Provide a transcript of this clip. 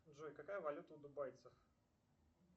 джой какая валюта у дубайцев